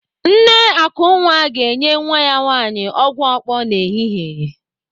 Nne Akunwa ga-enye nwa ya nwaanyị ọgwụ okpo n'ehihie.